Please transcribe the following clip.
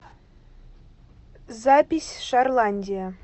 запись шарландия